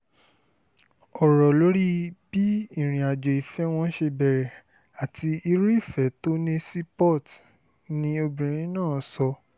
ọ̀rọ̀ lórí bí ìrìnàjò ìfẹ́ wọn ṣe bẹ̀rẹ̀ àti irú ìfẹ́ tó ní sí port ni obìnrin náà sọ